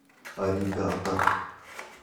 аригатор